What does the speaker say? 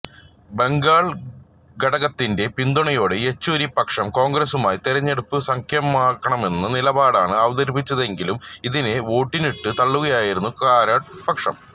ബംഗാൾ ഘടകത്തിന്റെ പിന്തുണയോടെ യെച്ചൂരി പക്ഷം കോൺഗ്രസ്സുമായി തിരഞ്ഞെടുപ്പ് സഖ്യമാകാമെന്ന നിലപാടാണ് അവതരിപ്പിച്ചതെങ്കിലും ഇതിനെ വോട്ടിനിട്ട് തള്ളുകയായിരുന്നു കാരാട്ട് പക്ഷം